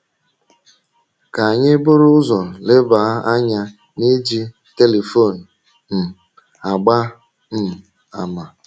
Ka anyị buru ụzọ leba anya n’iji telifon um agba um àmà.